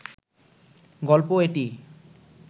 গল্প এটি